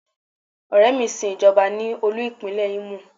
Ọ̀rẹ́ mi sin Ìjọba ní olú-ipinle Imo.